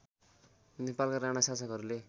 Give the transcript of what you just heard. नेपालका राणा शासकहरूले